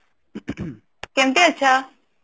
କେମିତି ଅଛ